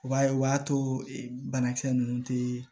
U b'a ye o b'a to banakisɛ ninnu tɛ